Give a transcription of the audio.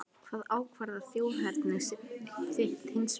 Hvað ákvarðar þjóðerni þitt hins vegar?